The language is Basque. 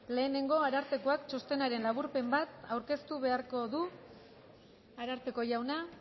lehenengo arartekoak txostenaren laburpen bat aurkeztu beharko du ararteko jauna